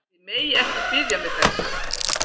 Þið megið ekki biðja mig þess!